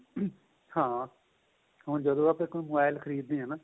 ਹਾਂ ਜਦੋਂ ਵੀ ਆਪਾਂ mobile ਖ਼ਰੀਦ ਦੇ ਆਂ